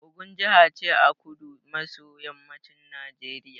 Ogun jaha ce a kudu maso yammacin Najeriya